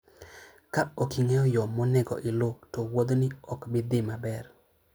Ka ok ing'eyo yo monego iluw, to wuothni ok bi dhi maber.